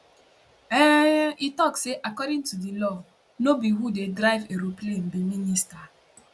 um e tok say according to di law no be who dey drive aeroplane be minister